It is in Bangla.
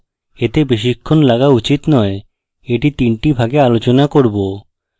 এতে বেশিক্ষণ লাগা উচিত নয় এটি তিনটি ভাগে আলোচনা করব